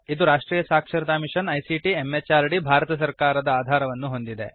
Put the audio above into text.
ಇದು ರಾಷ್ಟ್ರೀಯ ಸಾಕ್ಷರತಾ ಮಿಶನ್ ಐಸಿಟಿ ಎಂಎಚಆರ್ಡಿ ಭಾರತ ಸರ್ಕಾರದ ಆಧಾರವನ್ನು ಹೊಂದಿದೆ